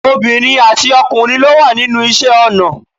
Obìnrin àti ọkùnrin ló wà nínú iṣẹ́ ọnà